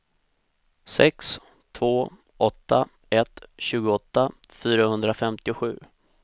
sex två åtta ett tjugoåtta fyrahundrafemtiosju